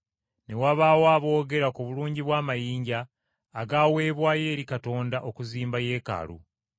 Ne wabaawo aboogera ku bulungi bw’amayinja agaweebwayo eri Katonda okuzimba Yeekaalu.